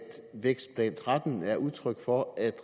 vækstplan og tretten er udtryk for at